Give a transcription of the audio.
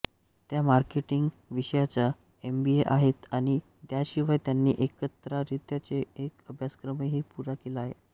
त्या मार्केटिंग विषयाच्या एमबीए आहेत आणि याशिवाय त्यांनी पत्रकारितेचा एक अभ्यासक्रमही पुरा केला आहे